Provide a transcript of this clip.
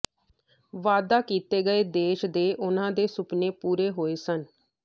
ਵਾਅਦਾ ਕੀਤੇ ਗਏ ਦੇਸ਼ ਦੇ ਉਨ੍ਹਾਂ ਦੇ ਸੁਪਨੇ ਪੂਰੇ ਹੋਏ ਸਨ